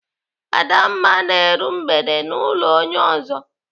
Adamma na-eru mgbede n'ụlọ onye ọzọ.